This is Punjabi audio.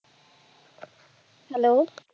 hello